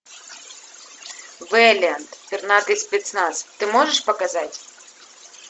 вэлиант пернатый спецназ ты можешь показать